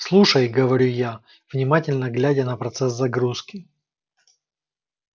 слушай говорю я внимательно глядя на процесс загрузки